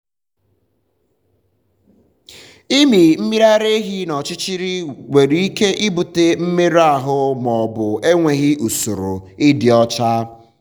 ịmị mmiri ara ehi n’ọchịchịrị nwere ike ibute mmerụ ahụ ma ọ bụ enweghị usoro um ịdị ọcha.